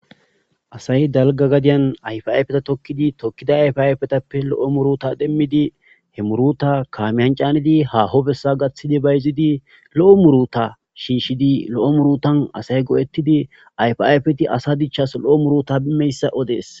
Asay dalgga gadiyan ayfa ayfetha thokkidi thokkida ayfa ayfethappe lo7o muruthaa demmidi he muruthaa kaamiyan caanidi haaho bessaa gaththidi bayzzidi lo7o muruthaa shiishshidi lo7o muruthan asay go7eththidi ayfaa ayfethi asa dichchaassi lo7omurutha odees.